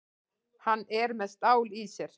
Hann er með stál í sér.